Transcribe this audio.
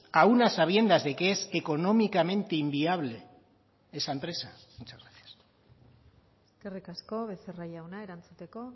aun a sabiendas de que es económicamente inviable esa empresa muchas gracias eskerrik asko becerra jauna erantzuteko